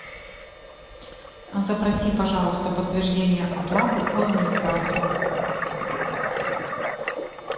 запроси пожалуйста подтверждение оплаты у администратора